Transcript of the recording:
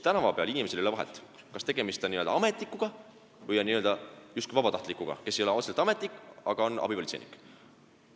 Tänava peal ei ole seal inimesel vahet, kas tegemist on n-ö ametnikuga või justkui vabatahtlikuga, kes ei ole otseselt ametnik, aga on abipolitseinik.